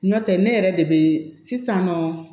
Nɔntɛ ne yɛrɛ de be sisan nɔ